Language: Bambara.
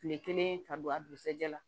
Kile kelen ka don a dugusajɛ la